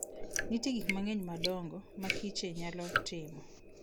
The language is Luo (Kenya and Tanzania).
Nitie gik mang'eny ma adongo ma kiche nyalo timo.